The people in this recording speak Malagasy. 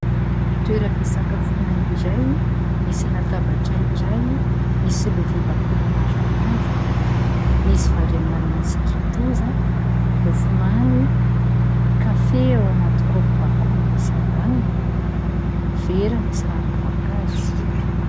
Toeram-pisakafoana iray : misy latabatra iray, misy lovia bakoly maromaro, misy vary amin'ny anana sy kitoza, mofo mamy, kafe ao anaty kopy bakoly misy ambaniny, vera misy ranom-boankazo.